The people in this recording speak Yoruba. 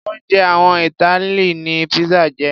Oúnjẹ àwọn Italy ni pizza jẹ́.